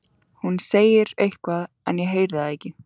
Hún segir eitthvað en ég heyri það ekki.